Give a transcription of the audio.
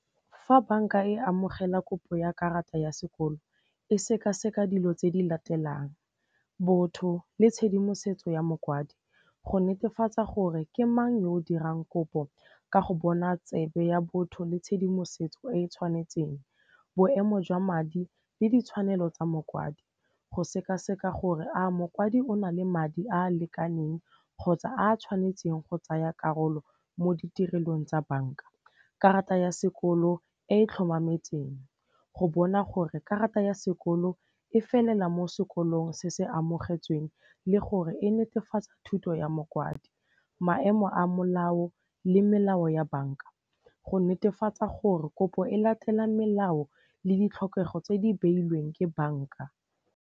Fa banka e amogela kopo ya karata ya sekolo e sekaseka dilo tse di latelang botho le tshedimosetso ya mokwadi, go netefatsa gore ke mang yo o dirang kopo ka go bona tsebe ya botho le tshedimosetso e e tshwanetseng, boemo jwa madi le ditshwanelo tsa mokwadi, go sekaseka gore a mokwadi o na le madi a a lekaneng kgotsa a tshwanetseng go tsaya karolo mo ditirelong tsa banka, karata ya sekolo e e tlhomametseng, go bona gore karata ya sekolo e felela mo sekolong se se amogetsweng le gore e netefatsa thuto ya mokwadi. Maemo a molao le melao ya banka go netefatsa gore kopo e latela melao le ditlhokego tse di beilweng ke banka.